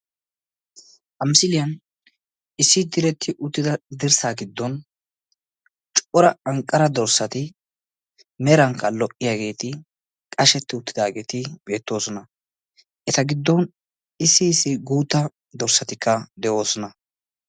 Ha misiliyaan issi diretti uttida dirssaa giddon cora anqqara dorssati merankka lo"iyaageti qashshetti uttidaageti beettoosona. eta giddon issi issi guutta dorssatikka de'oosona.